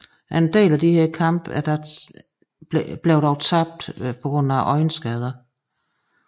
En del af disse kampe blev dog tabt på øjenskader